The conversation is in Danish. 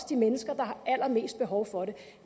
de mennesker der har allermest behov for det